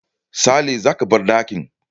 Sale, za ka bar dakin